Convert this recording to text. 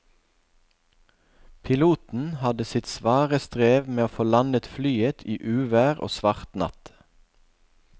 Piloten hadde sitt svare strev med å få landet flyet i uvær og svart natt.